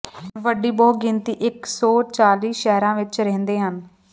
ਵੱਡੀ ਬਹੁਗਿਣਤੀ ਇਕ ਸੌ ਚਾਲੀ ਸ਼ਹਿਰਾਂ ਵਿਚ ਰਹਿੰਦੇ ਹਨ